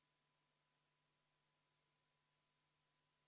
Kui debatis keegi räägib 30%-st ja 40%-st ja ei tea, mis maksust, siis ta valetab.